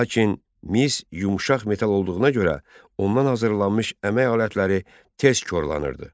Lakin mis yumşaq metal olduğuna görə ondan hazırlanmış əmək alətləri tez korlanırdı.